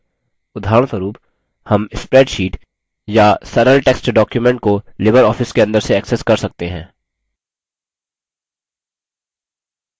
उदाहरणस्वरुप हम spreadsheet या सरल text document को libreoffice के अंदर से access कर सकते हैं